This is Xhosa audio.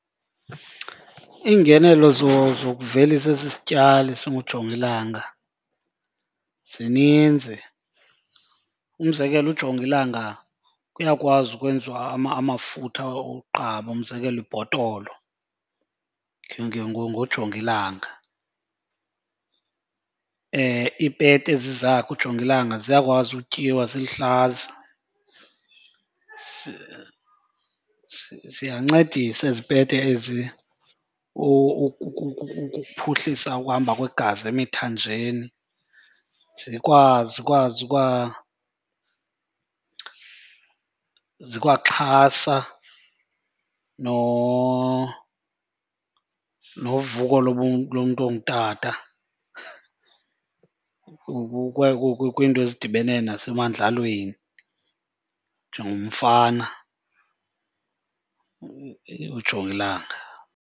Iingenelo zokuvelisa esi sityali singujongilanga zininzi. Umzekelo ujongilanga kuyakwazi ukwenziwa amafutha oqaba, umzekelo ibhotolo ngojongilanga. Iipeta ezi zakhe ujongilanga ziyakwazi utyiwa ziluhlaza. Ziyancedisa ezi pete ezi ukuphuhlisa ukuhamba kwegazi emithanjeni, zikwaxhasa novuko lomntu ongutata kwiinto ezidibene nasemadlelweni njengomfana ujongilanga.